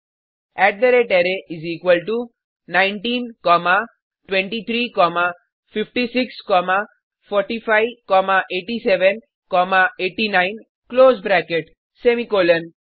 array 19 comma 23 comma 56 comma 45 comma 87 comma 89 close bracket semicolon